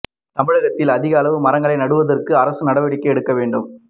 தமிழகத்தில் அதிக அளவில் மரங்களை நடுவதற்கு அரசு நடவடிக்கை எடுக்க வேண்டும்